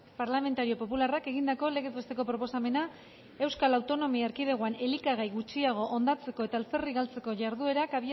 parlamentario popularrak egindako legez besteko proposamena euskal autonomia erkidegoan elikagai gutxiago hondatzeko eta alferrik galtzeko jarduketak